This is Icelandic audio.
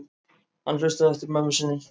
Hann hlustaði eftir mömmu sinni.